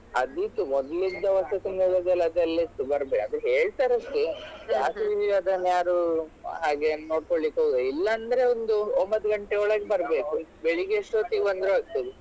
ಅದು ಇತ್ತು ಮೊದ್ಲಿದ್ದ ವಸತಿ ನಿಲಯದಲ್ಲಿ ಅದೆಲ್ಲ ಇತ್ತು ಬರ್ಬೇಕು ಅದು ಹೇಳ್ತಾರೆ ಅಷ್ಟೆ ಅದನ್ನು ಯಾರು ಹಾಗೇನ್ ನೋಡ್ಕೋಳಿಕ್ಕೆ ಹೋಗುದಿಲ್ಲ ಇಲ್ಲಾಂದ್ರೆ ಒಂದು ಒಂಬತ್ತು ಗಂಟೆ ಒಳ್ಗೆ ಬರ್ಬೇಕು ಬೆಳ್ಳಿಗೆ ಎಷ್ಟೋತ್ತಿಗು ಬಂದ್ರು ಆಗ್ತದೆ.